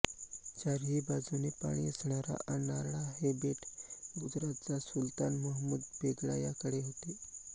चारही बाजूने पाणी असणारा अर्नाळा हे बेट गुजरातचा सुलतान महमूद बेगडा याकडे होते